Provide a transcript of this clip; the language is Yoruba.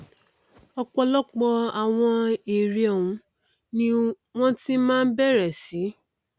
ọpọlọpọ àwọn ère ọhún ni wọn ti máa bẹrẹ sí